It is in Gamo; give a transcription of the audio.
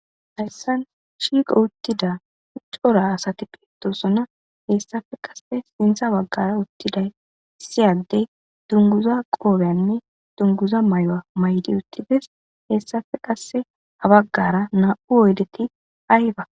hayssan shiiqo uttida uccora asati pitosonna hessafe qase sintha baggara uttiday issiyaddey tunguza qoobyanne dunguza may7oa maydi uttides hessafe qasse habaggara naa7u oydeti ayhba